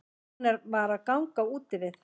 Hún var að ganga úti við.